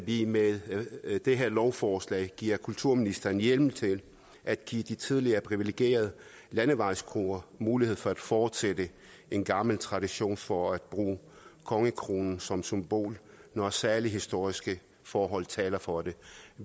vi med det her lovforslag giver kulturministeren hjemmel til at give de tidligere privilegerede landevejskroer mulighed for at fortsætte en gammel tradition for at bruge kongekronen som symbol når særlige historiske forhold taler for det